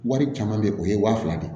Wari caman bɛ yen o ye waa fila de ye